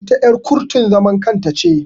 Ita er kurtun zaman kanta ne.